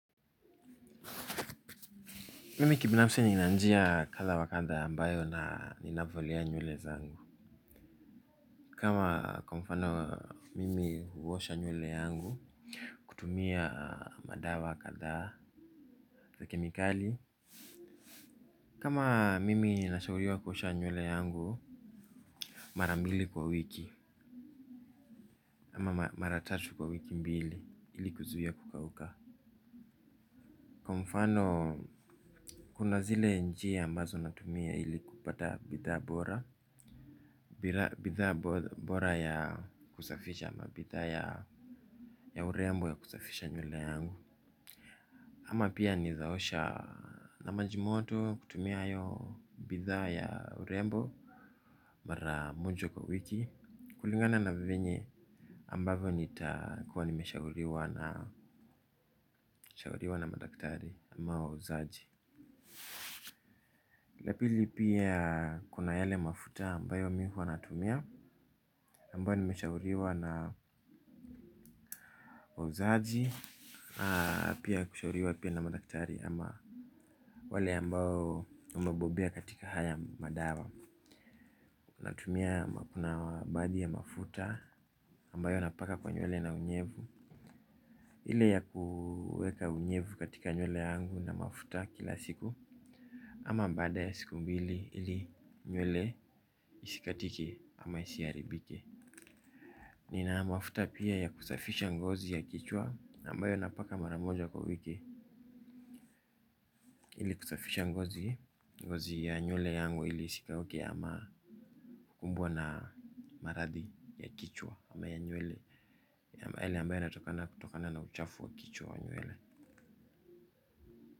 Mimi kibinafsi nina njia kadha wa kadha ambayo na, ninavolea nywele zangu. Kama kwa mfano mimi huwosha nywele yangu kutumia madawa kadhaa za kemikali. Kama mimi nashauriwa kuosha nywele yangu mara mbili kwa wiki ama mara tatu kwa wiki mbili ili kuzuiya kukauka. Kwa mfano, kuna zile njiya ambazo natumia ili kupata bidhaa bora bidhaa bora ya kusafisha ama bidhaa ya urembo ya kusafisha nywele yangu. Ama pia nezaosha na majimoto kutumia hayo bidhaa ya urembo mara moja kwa wiki. Kulingana na venye ambavo nitakuwa nimeshauriwa na, shauriwa na madaktari ama wauzaji la pili pia kuna yale mafuta ambayo mi huwa natumia ambayo nimeshauriwa na wauzaji. Pia kushauriwa pia na madaktari ama wale ambao wamebobea katika haya madawa. Natumia kuna baadhi ya mafuta ambayo napaka kwa nywele na unyevu. Ile ya kuweka unyevu katika nywele yangu na mafuta kila siku. Ama baada ya siku mbili ili nywele isikatike ama isiharibike. Nina mafuta pia ya kusafisha ngozi ya kichwa ambayo napaka maramoja kwa wiki ili kusafisha ngozi ngozi ya nywele yangu ili isikauke ama kukumbwa na maradhi ya kichwa ama ya nywele yale ambaye yanatokana kutokana na uchafu wa kichwa wa nywele.